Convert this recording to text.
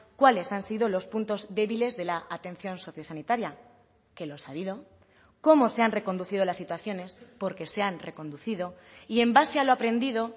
cuáles han sido los puntos débiles de la atención socio sanitaria que los ha habido cómo se han reconducido las situaciones porque se han reconducido y en base a lo aprendido